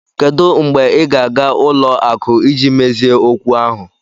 Kedu mgbe ị ga-aga ụlọ akụ iji mezie okwu ahụ?